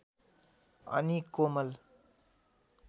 अनि कोमल